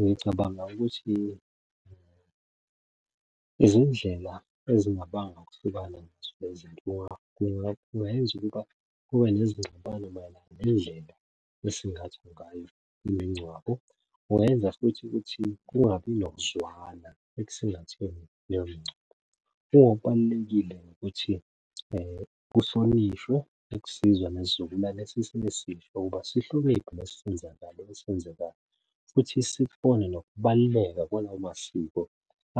Ngicabanga ukuthi izindlela ezingabanga ukuhlukana nazo le zinto kungayenza ukuba kube nezingxabano mayelana nendlela esingathwa ngayo imingcwabo. Kungayenza futhi ukuthi kungabi nokuzwana ekusingatheni leyo mingcwabo. Okubalulekile ukuthi kuhlonishwe ukusizwa nesizukulwane esesingesihle ukuba sihloniphe lesisenzakalo esenzekayo, futhi sibone nokubaluleka kwalawo masiko